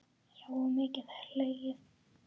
Já og mikið hlegið.